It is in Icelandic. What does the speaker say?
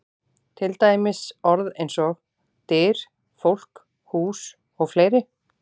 Til dæmis orð eins og: Dyr, fólk, hús og fleiri?